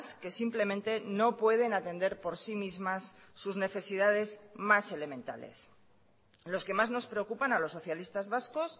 que simplemente no pueden atender por sí mismas sus necesidades más elementales los que más nos preocupan a los socialistas vascos